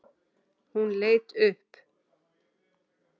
Hún leit upp.